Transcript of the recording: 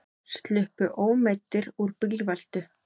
Sluppu ómeiddir úr bílveltu